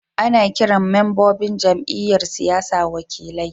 Ana kiran membobin jam'iyyar siyasa wakilai.